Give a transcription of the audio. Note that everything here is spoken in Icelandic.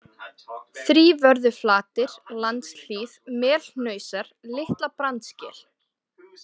Þrívörðuflatir, Landshlíð, Melhnausar, Litla-Brandsgil